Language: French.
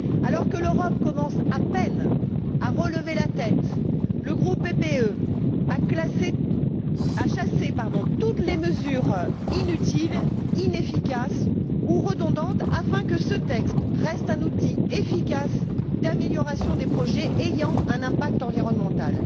Alors que l'Europe commence à peine à relever la tête, le groupe PPE a chassé toutes les mesures inutiles, inefficaces ou redondantes afin que ce texte reste un outil efficace d'amélioration des projets ayant un impact environnemental.